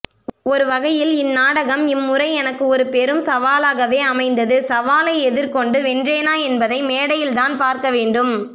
ஒருவகையில் இந்நாடகம் இம்முறை எனக்கு ஒரு பெரும் சவாலாகவே அமைந்தது சவாலை எதிர்கொண்டு வென்றேனா என்பதை மேடையில்தான் பார்க்கவேண்டும்